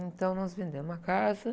Então, nós vendemos a casa.